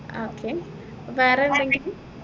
ആഹ് okay അപ്പൊ വേറെ എന്തെങ്കിലും